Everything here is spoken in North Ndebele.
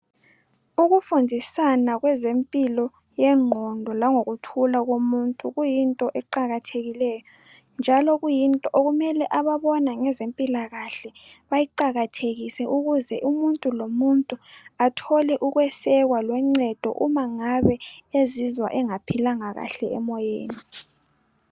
Ukufundisana kwezempilo yengqondo langokuthula komuntu kuyinto eqakathekileyo njalo kuyinto okumele ababona ngemikhuhlane bayiqakathekise ukuze umuntu lomuntu athole ukwesekwa loncedo uma ngabe ezizwa engaphilanga kahle emoyeni